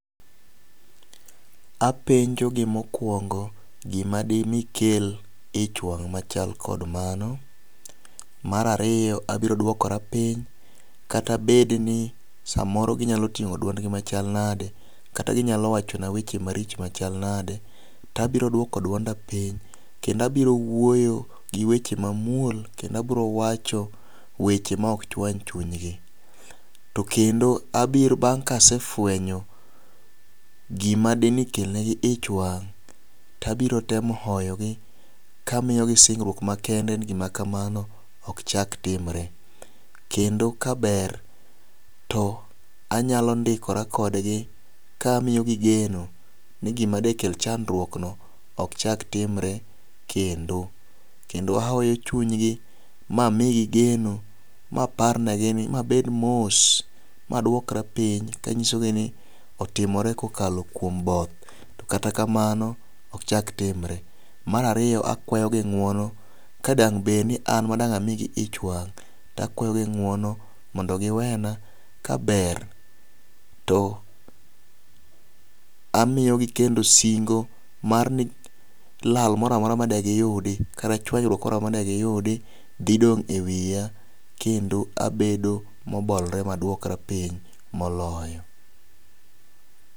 Apenjo gi mokwongo gima dimi kel ich wang' machal kod mano. Mar ariyo abiro duokora piny kata bed ni samoro ginyalo ting'o duond gi machal nade kata ginyalo wacho na weche maricho machal nade tabiro duoko duonda piny kendo abiro wuoyo gi weche mamuol kendo abro wacho weche ma ok chwany chuny gi. To kendo abiro bang ka asefwenyo gima dine kel negi ich wang' tabiro temo oyogi ka miyo gi singruok makende ni gima kamano ok chak timre. Kendo ka ber to anyalo ndikora kodgi kamiyo gi geno ni gima dikel chandruok no ok chak timre kendo kendo ahoyo chunygi mamigi geno ma par ne gi ni mabed mos maduokra piny kanyiso gi ni otimore kokalo kuom both. To kata kamano ok chak timre. Mar ariyo akwayo gi ng'uono ka dang' bed ni an ma dang' amigi ichwang' akwayo gi ng'wono mondo giwena kaber to amiyogi kendo singo mar ni lal moramora made giyudo kata chwanyruok moramora made giyudi dhi dong' e wiya kendo abedo mobolore maduokra piny moloyo.